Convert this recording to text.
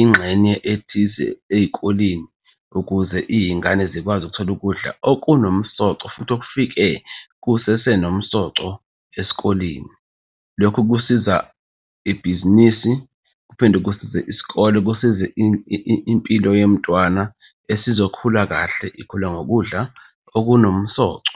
ingxenye ethize ey'koleni ukuze iy'ngane zikwazi ukuthola ukudla okunomsoco futhi okufike kusese nomsoco esikoleni. Lokho kusiza ibhizinisi kuphinde kusize isikole. Kusize impilo yomntwana esizokhula kahle ikhule ngokudla okunomsoco.